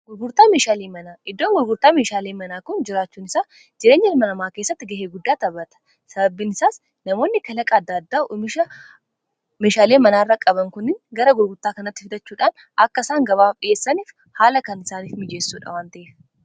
gruraa mehaalii manaa iddoon gurburtaa mishaalii manaa kun jiraachuun isaa jireenya irmalamaa keessatti ga'ee guddaa tabata sababbiin isaas namoonni kalaqaaddaaddaa umisha meshaalii manaa irra qaban kunin gara gurgurtaa kanatti fitachuudhaan akkaisaan gabaaf dhi'eessaniif haala kan isaaniif mijeessuudha wanta'ef